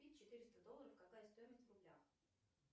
четыреста долларов какая стоимость в рублях